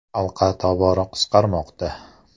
“Halqa tobora qisqarmoqda”.